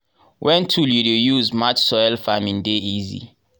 wen tool you dey use match soil farming dey easy.